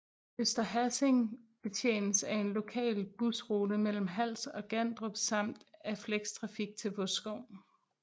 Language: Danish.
Øster Hassing betjenes af en lokal busrute mellem Hals og Gandrup samt af flextrafik til Vodskov